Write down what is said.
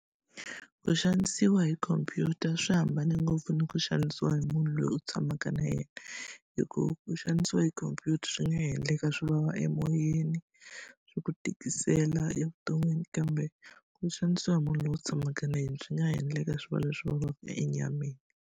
Ku xanisiwa hi khompyuta swi hambane ngopfu ni ku xanisiwa hi munhu loyi u tshamaka na yena, hikuva ku xanisiwa hi khomphyuta swi nga endleka swi vava emoyeni, swi ku tikisela evuton'wini. Kambe ku xanisiwa hi munhu loyi u tshamaka na yena swi nga ha endleka swi va leswi vavaka enyameni.